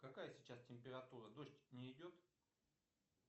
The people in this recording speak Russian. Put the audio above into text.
какая сейчас температура дождь не идет